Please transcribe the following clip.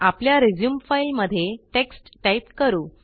आपल्या resume file मध्ये text type करू